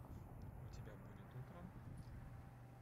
у тебя будет утро